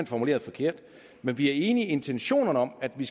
formuleret forkert men vi er enige i intentionerne om at vi